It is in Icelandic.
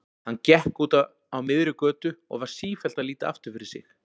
Hann gekk úti á miðri götu og var sífellt að líta aftur fyrir sig.